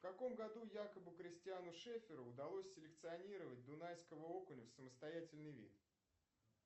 в каком году якобы кристиану шефферу удалось селекционировать дунайского окуня в самостоятельный вид